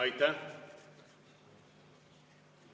Aitäh!